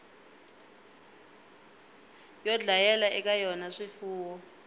yo dlayela eka yona swifuwo